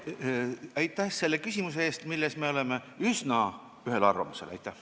Aitäh selle küsimuse eest, milles me oleme üsna ühel arvamusel!